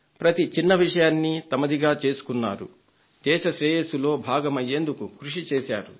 ప్రతి చిన్న విషయాన్ని తమదిగా చేసుకున్నారు దేశ శ్రేయస్సులో భాగమయ్యేందుకు కృషి చేశారు